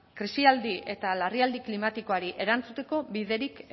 krisialdi eta larrialdi klimatikoari erantzuteko biderik